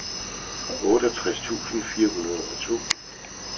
otteogtres tusind fire hundrede og to